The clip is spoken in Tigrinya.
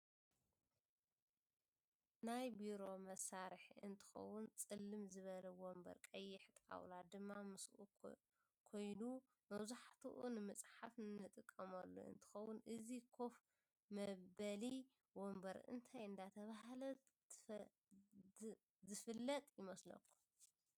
ናይ ብሮ መሳርሕ እንትከውን ፀልም ዝበለ ወንበር ቀይሕ ጣውላ ድማ ምስኡ ኮይን መብዛሕትኡ ንምፃሓፍ ንጥቀመሉ እንትከውን እዚ ከፍ መበል ወንበር እንታይ እዳተበሃለት ትፍለጥ ይመስለኩም?